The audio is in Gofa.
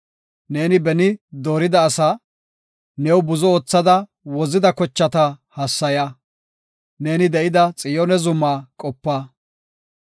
Neeni beni doorida asaa, new buzo oothada wozida kochata hassaya; neeni de7ida Xiyoone zuma qopa.